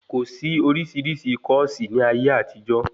Kòsí oríṣiríṣi kọ́ọ̀sí ní ayé àtijó